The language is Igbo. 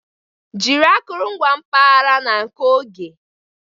Jiri akụrụngwa mpaghara na nke oge.